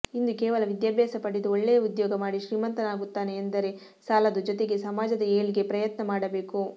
ಇಂದು ಕೇವಲ ವಿದ್ಯಾಭ್ಯಾಸ ಪಡೆದು ಒಳ್ಳೆಯ ಉದ್ಯೋಗ ಮಾಡಿ ಶ್ರೀಮಂತನಾಗುತ್ತೇನೆ ಎಂದರೆ ಸಾಲದು ಜೊತೆಗೆ ಸಮಾಜದ ಏಳ್ಗೆಗೆ ಪ್ರಯತ್ನ ಮಾಡಬೇಕು